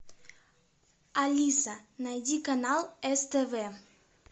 алиса найди канал ств